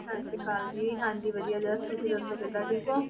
ਸਤਿ ਸ੍ਰੀ ਅਕਾਲ ਜੀ, ਹਾਂਜੀ ਵਧੀਆ ਜਸ ਤੁਸੀਂ ਦੱਸੋ ਕਿੱਦਾਂ ਠੀਕ ਹੋ?